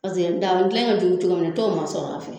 Paseke dagani gilan in ka jugu cogo min i t'o masɔrɔ a fɛ